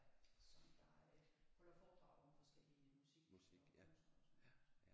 Som der øh holder foredrag om forskellige musik og kunstnere og sådan noget